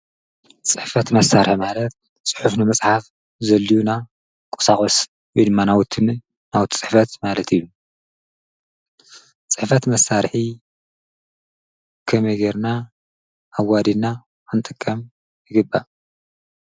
ፅሕፈት መሳርሒ ማለት ፅሑፍ ንምፅሓፍ ዘድልዩና ቁሳቁስ ወይድማ ናውቲ ፅሕፈት ማለት እዩ፡፡ ፅሕፈት መሳርሒ ከመይ ጌርና ኣዋዲድና ክንጥቀም ይግባእ?